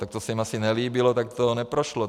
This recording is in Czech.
Tak to se jim asi nelíbilo, tak to neprošlo.